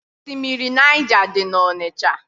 Osimiri Naịja dị n'Ọnịcha.